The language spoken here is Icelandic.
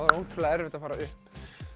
er ótrúlega erfitt að fara upp